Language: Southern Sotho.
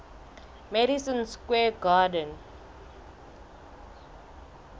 madison square garden